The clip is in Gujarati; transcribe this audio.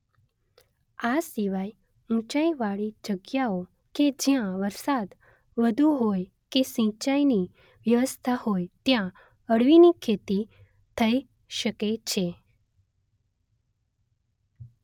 આ સિવાય ઉંચાઈવાળી જગ્યાઓ કે જ્યાં વરસાદ વધુ હોય કે સિંચાઈની વ્યવસ્થા હોય ત્યાં અળવીની ખેતી થઈ શકે છે